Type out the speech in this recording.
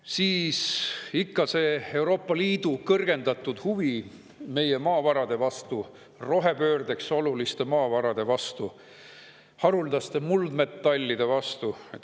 Siis ikka Euroopa Liidu kõrgendatud huvi meie maavarade vastu, rohepöördeks oluliste maavarade vastu, haruldaste muldmetallide vastu.